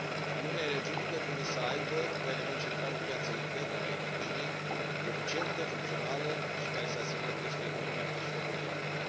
Uniunea energetică trebuie să aibă ca element central o piață internă a energiei eficientă, funcțională și care să asigure o creștere economică și locuri de muncă.